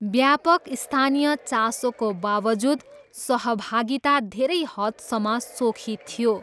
व्यापक स्थानीय चासोको बावजुद, सहभागिता धेरै हदसम्म सोखी थियो।